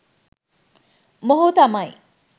මොහු තමයි